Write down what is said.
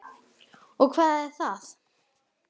Og hvað er það?